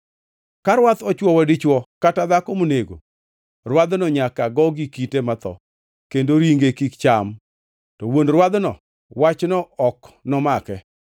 “Ka rwath ochwoyo dichwo kata dhako monego, rwadhno nyaka go gi kite ma tho, kendo ringe kik cham. To wuon rwadhno wachno ok nomake.